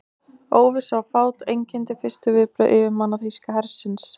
Óvissa og fát einkenndi fyrstu viðbrögð yfirmanna þýska hersins.